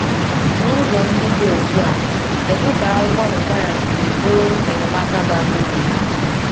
N’ụzọ ndị dị otú a, kedu ka akwụkwọ Require si bụrụ enyemaka bara uru?